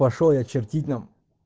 пошёл я чертить нахуй